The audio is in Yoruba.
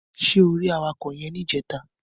Ṣé o rí awakọ̀ yẹn níjẹta?